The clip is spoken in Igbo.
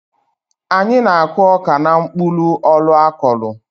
Anyị na-akụ ọka n'mkpụlụ-ọlụ akọlụ.